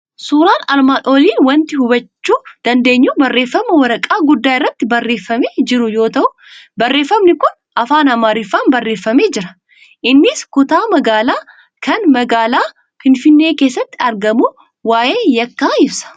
Suuraan armaan olii waanti hubachuu dandeenyu barreeffama waraqaa guddaa irratti barreeffamee jiru yoo ta'u, barreeffamni kun afaan Amaariffaan barreeffamee jira. Innis kutaa magaalaa kan magaalaa Finfinnee keessatti argamu waa'ee Yekkaa ibsa.